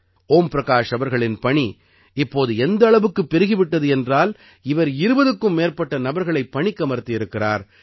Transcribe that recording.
ஓம் பிரகாஷ் அவர்களின் பணி இப்போது எந்த அளவுக்குப் பெருகி விட்டது என்றால் இவர் 20க்கும் மேற்பட்ட நபர்களைப் பணிக்கமர்த்தி இருக்கிறார்